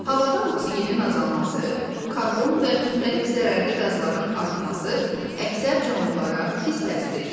Havada oksigenin azalması, karbon və müxtəlif zərərli qazların artması əksər canlılara pis təsir edir.